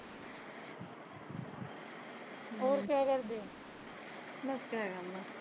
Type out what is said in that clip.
ਹੋਰ ਕਿਆ ਕਰਦੇ